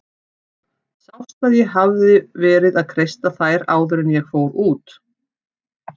Sást að ég hafði verið að kreista þær áður en ég fór út?